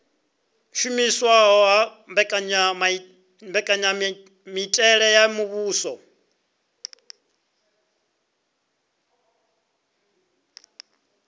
shumiswa ha mbekanyamitele ya muvhuso